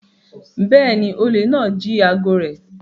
Bẹ́ẹ̀ni, olè náà jí aago rẹ̀